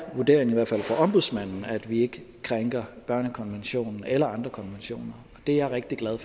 vurderingen i hvert fald fra ombudsmanden at vi ikke krænker børnekonventionen eller andre konventioner det er jeg rigtig glad